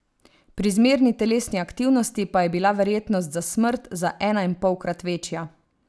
Pri zmerni telesni aktivnosti pa je bila verjetnost za smrt za enainpolkrat večja.